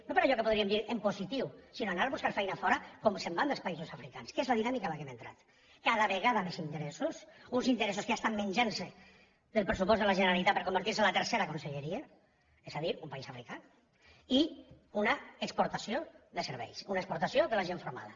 no per allò que podríem dir en positiu sinó anar a buscar feina fora com se’n van dels països africans que és la dinàmica en què hem entrat cada vegada més interessos uns interessos que ja estan menjant se el pressupost de la generalitat per convertir se en la tercera conselleria és a dir un país africà i una exportació de cervells una exportació de la gent formada